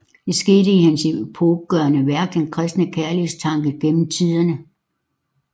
Det skete i hans epokegørende værk Den kristne kærlighedstanke gennem tiderne